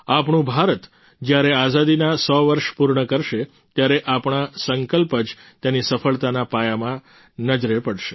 આપણું ભારત જ્યારે આઝાદીના 100 વર્ષ પૂર્ણ કરશે ત્યારે આપણા આ સંકલ્પ જ તેની સફળતાના પાયામાં નજરે પડશે